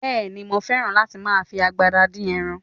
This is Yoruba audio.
Bẹ́ẹ̀ni, mo fẹ́ràn láti máa fi agbada dín ẹran